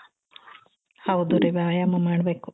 ಹೌದು ರೀ ವ್ಯಾಯಾಮ ಮಾಡ್ಬೇಕು .